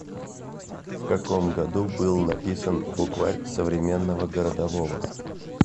в каком году был написан букварь современного городового